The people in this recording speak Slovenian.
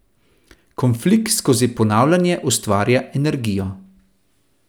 Konflikt skozi ponavljanje ustvarja energijo.